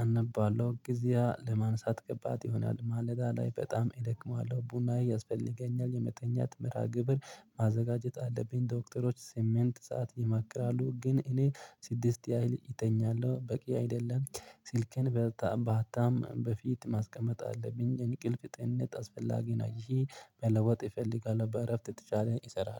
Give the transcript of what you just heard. አነባለው ጊዜያ ለማንሳት ከባድ ይሆናል ማለዳ ላይ በጣም እደክመዋለሁ። ቡና ያስፈልገኛል የመተኛት መርሃ ግብር ማዘጋጀት አለብኝ። ዶክተሮች ስሚንት ሰዓት ይመክራሉ ግን እኔ ሲድስት ያህል እተኛለሁ በቂ አይደለም። ስልክን በጣም ባጣም በፊት ማስቀመጥ አለብኝ እንቅልፍ ጤንነት አስፈላጊ ነው። ይሂ መለወጥ ኢፈልጋለው በእረፍት የተቻለ ኢሰራለው